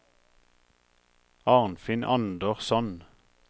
Arnfinn Andersson